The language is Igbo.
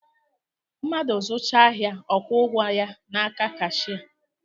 Madụ zụchaa ahịa ọ kwuo ụgwọ ya n’aka kashịa